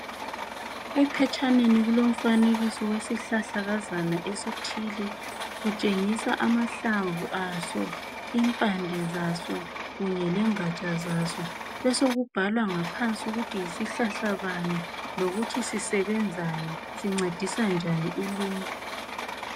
Ephetshaneni kulomfanekiso wesihlahla kazana esithile kutshengisa amahlamvu aso impande zaso kunye lengatsha zaso besekubhalwa ngaphansi ukuthi yisihlahla bani lokuthi sisebenzani sincedisa njani uluntu.